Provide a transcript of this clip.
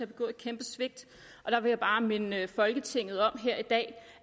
begået et kæmpe svigt og jeg vil bare minde folketinget om her i dag